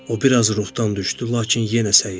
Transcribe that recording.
O biraz ruhdan düşdü, lakin yenə cəhd etdi.